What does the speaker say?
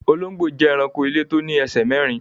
Olongbo jẹ́ èránkò ilẹ̀ tó ní èṣè mẹ̀rìn.